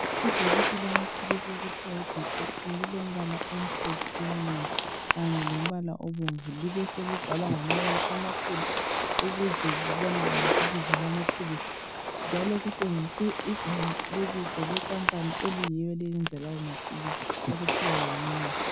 Ibhokisi lamaphilisi okuthiwa yibeacoctin lilombala omhliphe omnengi kanye lombala obomvu libeselibhalwa ngamabala amakhulu ukuze kubonakale ibizo lamaphilisi njalo kutshengiswe igama lebizo lekampani eyiyo eyenza lawo maphilisi okuthiwa yiMEYER.